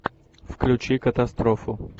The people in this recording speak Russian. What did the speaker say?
включи катастрофу